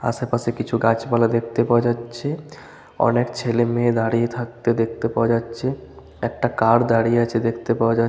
আশেপাশে কিছু গাছপালা দেখতে পাওয়া যাচ্ছে। অনেক ছেলে মেয়ে দাঁড়িয়ে থাকতে দেখতে পাওয়া যাচ্ছে। একটা কার দাঁড়িয়ে আছে দেখতে পাওয়া যা--